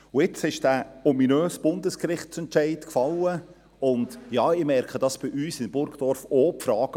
Jetzt ist der ominöse Bundesgerichtsentscheid gefallen, und ja, ich merke dies bei uns in Burgdorf auch: